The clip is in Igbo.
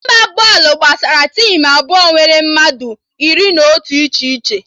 Ịgba bọọlụ gbasara tim abụọ nwere mmadụ iri na otu iche iche